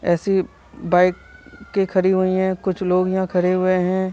ऐसी बाइक के खड़ी हुई हैं। कुछ लोग यहाँ खड़े हुए हैं।